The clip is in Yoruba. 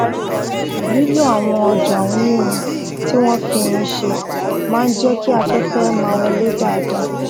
lílo àwọn òjá onírin tí wón fi irin ṣe máa ń jé kí aféfé máa wọlé dáadáa